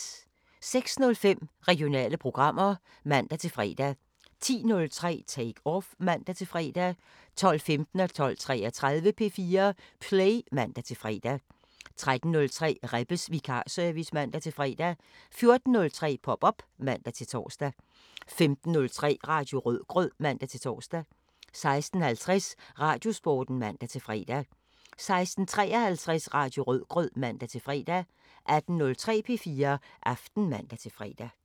06:05: Regionale programmer (man-fre) 10:03: Take Off (man-fre) 12:15: P4 Play (man-fre) 12:33: P4 Play (man-fre) 13:03: Rebbes vikarservice (man-fre) 14:03: Pop op (man-tor) 15:03: Radio Rødgrød (man-tor) 16:50: Radiosporten (man-fre) 16:53: Radio Rødgrød (man-fre) 18:03: P4 Aften (man-fre)